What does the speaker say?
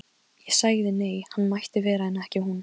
Valgerður slóst í för með þeim, hún var jafnaldra Richards.